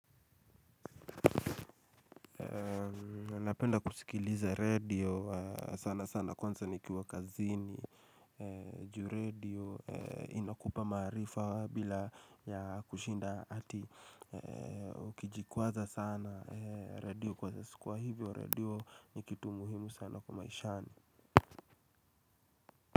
Napenda kusikiliza redio sana sana kwanza nikiwa kazini Ju redio inakupa maarifa wa bila ya kushinda ati. Ukijikwaza sana radio kwa siku kwa hivyo radio ni kitu muhimu sana kwa maishani.